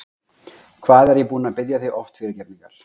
Hvað er ég búinn að biðja þig oft fyrirgefningar?